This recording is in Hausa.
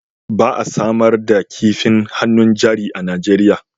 Ba a samar da kifin hannun jari a Najeriya